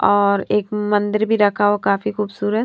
और एक मंदिर भी रखा हुआ काफी खूबसूरत।